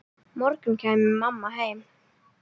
morgun kæmi mamma heim.